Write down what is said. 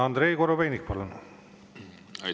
Andrei Korobeinik, palun!